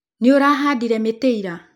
Nĩ ùrahadire mĩtĩ ira